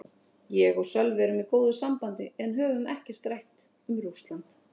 Ég og Sölvi erum í góðu sambandi en höfum ekkert rætt um Rússland.